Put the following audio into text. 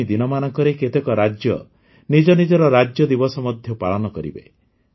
ଆଗାମୀ ଦିନମାନଙ୍କରେ କେତେକ ରାଜ୍ୟ ନିଜ ନିଜର ରାଜ୍ୟଦିବସ ମଧ୍ୟ ପାଳନ କରିବେ